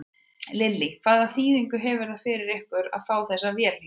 Lillý: Hvaða þýðingu hefur það fyrir ykkur að fá þessa vél hingað?